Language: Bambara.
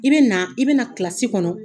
I bɛ na, i bɛ na kilasi kɔnɔ